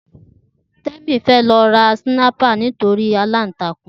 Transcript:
Temi fè lò rá sinàípá lòlá nitóri àlántákún